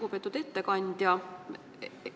Lugupeetud ettekandja!